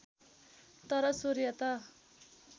तर सूर्य त